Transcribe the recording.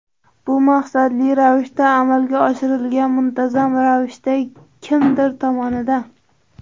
Bu maqsadli ravishda amalga oshirilgan, muntazam ravishda, kimdir tomonidan.